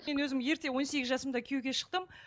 мен өзім ерте он сегіз жасымда күйеуге шықтым